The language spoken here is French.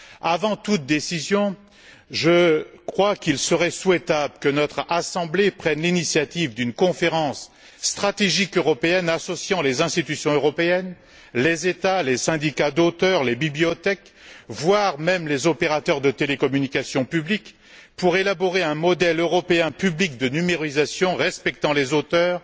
Avant d'adopter toute décision, je crois qu'il serait souhaitable que notre Assemblée prenne l'initiative d'une conférence stratégique européenne associant les institutions européennes, les États, les syndicats d'auteurs, les bibliothèques, voire les opérateurs de télécommunications publiques, pour élaborer un modèle européen public de numérisation respectant les auteurs,